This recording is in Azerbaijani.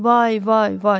Vay, vay, vay.